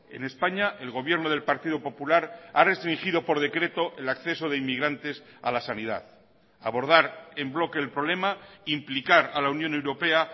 en españa el gobierno del partido popular ha restringido por decreto el acceso de inmigrantes a la sanidad abordar en bloque el problema implicar a la unión europea